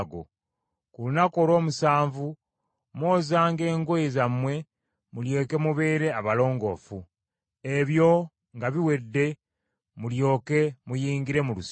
Ku lunaku olw’omusanvu mwozanga engoye zammwe, mulyoke mubeere abalongoofu. Ebyo nga biwedde mulyoke muyingire mu lusiisira.”